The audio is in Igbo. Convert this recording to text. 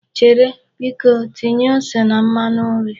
Chere! Biko tinye ose na mmanu nri.